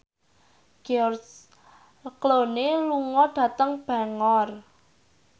George Clooney lunga dhateng Bangor